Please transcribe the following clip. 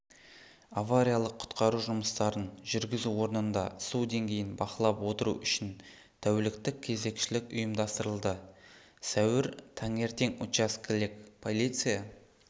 авариялық-құтқару жұмыстарын жүргізу орнында су деңгейін бақылап отыру үшін тәуліктік кезекшілік ұйымдастырылды сәуір таңертең участкелік полиция